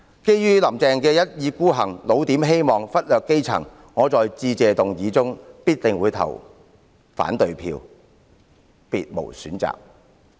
基於"林鄭"的一意孤行，"老點"希望、忽略基層，我在致謝議案的表決中必定會投下反對票，別無選擇。